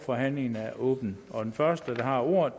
forhandlingen er åbnet og den første der har ordet